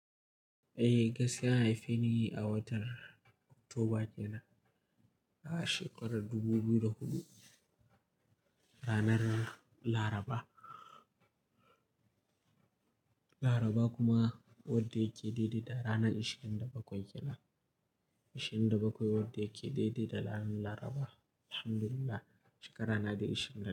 Eh, gaskiya an haife ni a watan Oktoba kenan, a shekarar dubu biyu da hudu, ranar Laraba. Laraba kuma wadda yake daidai da ranar ishin da bakwai kenan. Ishin da bakwai wadda yake daidai da ran Laraba. Alhamdulillah, shekara na da ishin da.